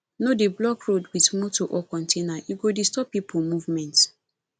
no dey block road with motor or container e go disturb people movement